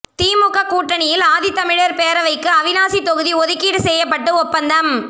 திமுக கூட்டணியில் ஆதித்தமிழர் பேரவைக்கு அவிநாசி தொகுதி ஒதுக்கீடு செய்யப்பட்டு ஒப்பந்தம்